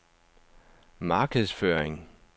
markedsføring